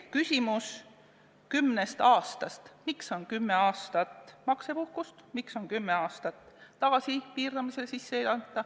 Küsimus kümnest aastast – näiteks miks on ette nähtud kümme aastat maksepuhkust?